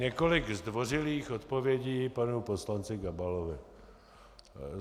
Několik zdvořilých odpovědí panu poslanci Gabalovi.